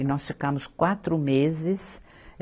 E nós ficamos quatro meses.